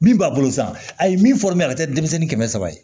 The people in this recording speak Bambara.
Min b'a bolo san a ye min fɔ mɛ a ka kɛ denmisɛnnin kɛmɛ saba ye